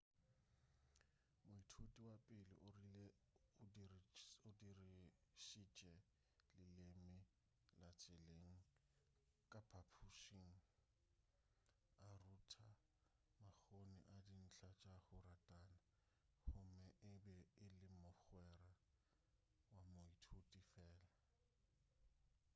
moithuti wa pele o rile o 'dirišitše leleme la tseleng ka phaphušing a rutha makgoni a dintlha tša go ratana gomme e be e le mogwera wa moithuti fela.'